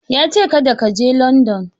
Ya ce "Karda ka je Landan"!